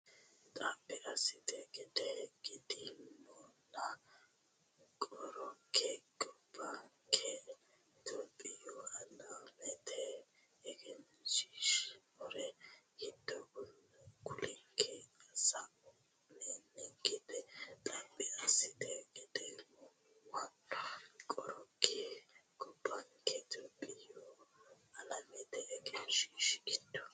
Xaphi assate Geedimunna Qorke gobbanke Itophiya Alamete egensiissinori giddo kullikki sa nannikkireeti Xaphi assate Geedimunna Qorke gobbanke Itophiya Alamete egensiissinori giddo.